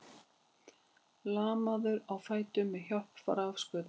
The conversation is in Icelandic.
Lamaður á fætur með hjálp rafskauta